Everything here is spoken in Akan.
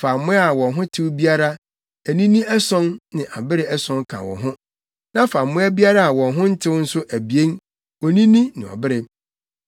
Fa mmoa a wɔn ho tew biara, anini ason ne abere ason ka wo ho. Na fa mmoa biara a wɔn ho ntew nso abien, onini ne ɔbere.